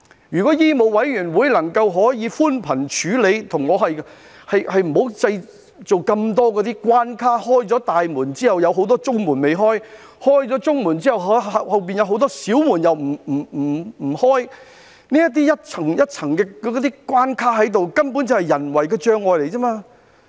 如果醫委會能夠寬鬆處理，不要設立那麼多關卡，在打開大門之後，仍保留很多中門未開，在打開中門之後，後面又有很多小門還未打開，這些一層一層的關卡，根本只是人為障礙。